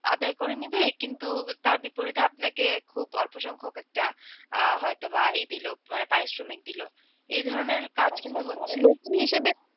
আদায় করে নেবে কিন্তু তার বিপরীতে আপনাকে খুব অল্পসংখ্যক একটা আহ হয়তোবা ই দিল মানে পারিশ্রমিক দিল এধরনের কাজ কিন্তু হচ্ছে মানে নতুন হিসেবে।